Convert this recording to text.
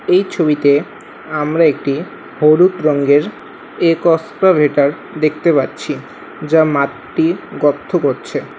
এই ছবিতে আমরা একটি হলুদ রংয়ের একস্পভেটার দেখতে পাচ্ছি যা মাটির গত্থ করছে।